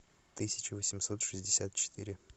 тысяча восемьсот шестьдесят четыре